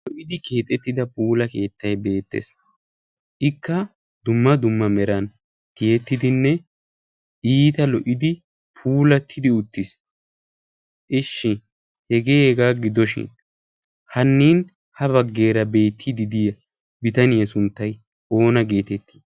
lo"idi keexettida puula keettai beettees ikka dumma dumma meran tiyettidinne iita lo"idi puulattidi uttiis ishshi hegeeegaa gidoshin hannin ha baggeera beettididiya bitaniyaa sunttay oona geetettii